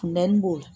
Funtɛni b'o la